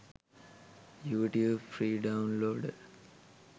youtube free downloader